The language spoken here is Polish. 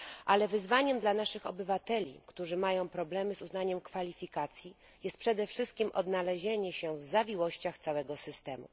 Ale wyzwaniem dla naszych obywateli, którzy mają problemy z uznaniem kwalifikacji jest przede wszystkim odnalezienie się w zawiłościach całego systemu.